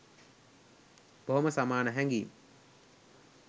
බොහෝම සමාන හැඟීම්